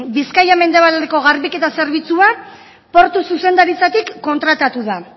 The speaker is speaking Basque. bizkaia mendebaldeko garbiketa zerbitzuan portu zuzendaritzatik kontratatu da